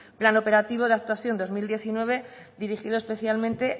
plan operativo de actuación dos mil diecinueve dirigido especialmente